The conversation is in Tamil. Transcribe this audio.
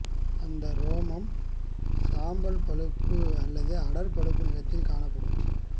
அந்த ரோமம் சாம்பல் பழுப்பு அல்லது அடர் பழுப்பு நிறத்தில் காணப்படும்